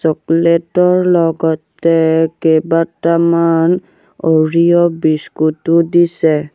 Chocolate ৰ লগতে কেইবাটামান অৰিঅ বিস্কুটো দিছে।